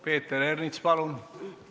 Peeter Ernits, palun!